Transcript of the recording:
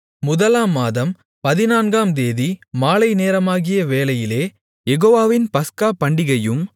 முதலாம் மாதம் பதினான்காம் தேதி மாலைநேரமாகிய வேளையிலே யெகோவாவின் பஸ்கா பண்டிகையும்